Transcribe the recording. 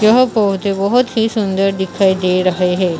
यह पौधे बहोत ही सुंदर दिखाई दे रहे हैं।